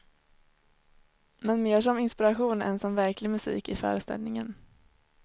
Men mer som inspiration än som verklig musik i föreställningen.